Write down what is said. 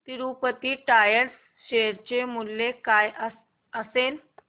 Tirupati tyres share चे मूल्य काय असेल